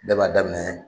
Bɛɛ b'a daminɛ